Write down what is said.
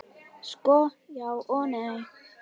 Sko, já og nei.